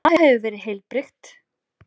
Það hefur verið heilbrigt?